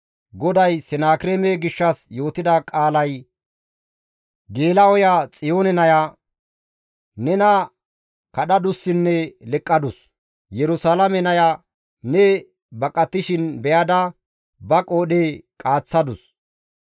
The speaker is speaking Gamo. «GODAY Senakireeme gishshas yootida qaalay, «Geela7oya Xiyoone naya nena kadhadussinne leqqadus. Yerusalaame naya ne baqatishin be7ada ba qoodhe qaaththadus.